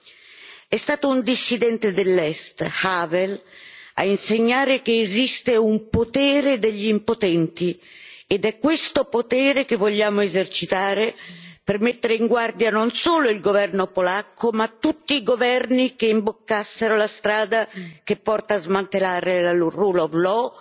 2. È stato un dissidente dell'Est, Václav Havel, a insegnare che esiste un potere degli impotenti ed è questo potere che vogliamo esercitare per mettere in guardia non solo il governo polacco, ma tutti i governi che imboccassero la strada che porta a smantellare la rule of law